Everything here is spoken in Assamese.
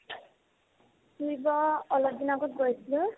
ফুৰিব অলপ দিন আগত গৈছিলো